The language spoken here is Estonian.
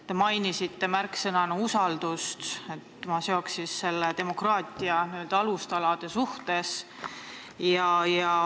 Te mainisite märksõnana usaldust, ma seoks selle demokraatia alustaladega.